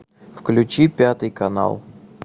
включи пятый канал